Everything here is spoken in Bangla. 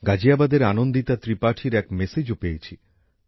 গাজিয়াবাদের আনন্দিতা ত্রিপাঠীর এক বার্তাও পেয়েছি